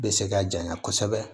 Bɛ se ka janya kosɛbɛ